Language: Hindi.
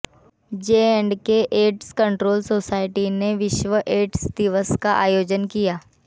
जेएंडके एड्स कंट्रोल सोसायटी ने विश्व एड्स दिवस का आयोजन किया